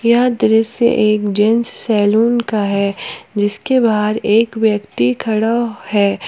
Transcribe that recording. यह दृश्य एक जेंट्स सैलून का है जिसके बाहर एक व्यक्ति खड़ा है।